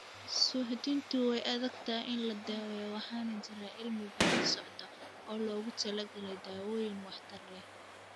Suuxdintu way adag tahay in la daweeyo waxaana jira cilmi-baaris socda oo loogu talagalay dawooyin waxtar leh.